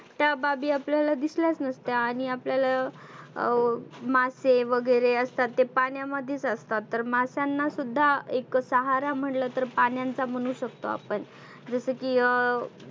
त्या बाबी आपल्याला दिसल्याच नसत्या. आणि आपल्याला अं मासे वगैरे असतात ते पाण्यामध्येच असतात. तर मास्यांना सुद्धा एक सहारा म्हटलं तर पाण्यांचा म्हणु शकतो आपण. जसं की अं